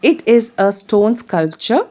It is a stone sculpture.